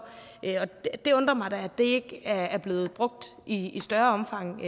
og det undrer mig da at det ikke er blevet brugt i større omfang